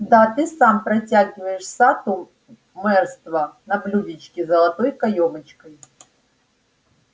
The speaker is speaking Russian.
да ты сам протягиваешь сатту мэрство на блюдечке с золотой каёмочкой